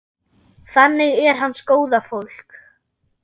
Þannig er hans góða fólk.